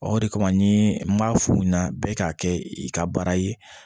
Ɔ de kama ni n b'a f'u ɲɛna bɛɛ k'a kɛ i ka baara ye